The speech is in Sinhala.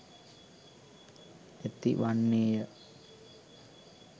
ඇති වන්නේ ය.